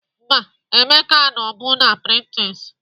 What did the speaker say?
Mba, Emeka anọbu na Pinterest